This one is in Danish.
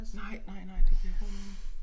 Nej nej nej det giver god mening